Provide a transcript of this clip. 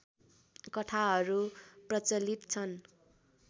कथाहरू प्रचलित छन्